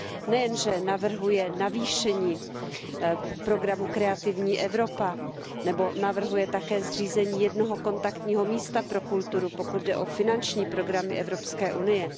Nejen, že navrhuje navýšení programu Kreativní Evropa nebo navrhuje také zřízení jednoho kontaktního místa pro kulturu, pokud jde o finanční programy Evropské unie.